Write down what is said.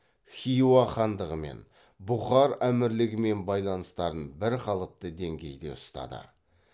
хиуа хандығымен бұхар әмірлігімен байланыстарын бірқалыпты деңгейде ұстады